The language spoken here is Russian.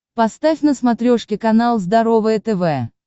поставь на смотрешке канал здоровое тв